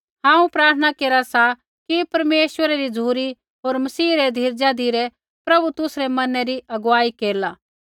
हांऊँ प्रार्थना केरा सा कि परमेश्वरा री झ़ुरी होर मसीह रै धीरजा धिरै प्रभु तुसरै मनै री अगुवाई केरला